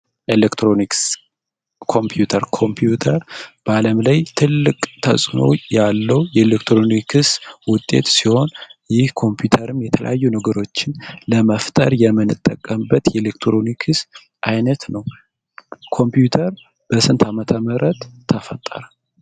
ኤሌክትሮኒክስ. ኮምፒተር ኮምፒውተር በዓለም ላይ ትልቅ ተፅዕኖ ያለው የኢኮኖሚክስ ውጤት ሲሆን ይህ ኮምፒተርም የተለያዩ ነገሮችን ለመፍተር የምንጠቀምበት የኤሌክትሮኒክስ አይነት ነው። ኮምፒውተር በስንት አመተ ምህረት ተፈጠረ?